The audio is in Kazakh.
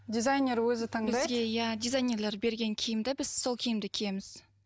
дизайнер өзі таңдайды бізге иә дизайнерлер берген киімді біз сол киімді киеміз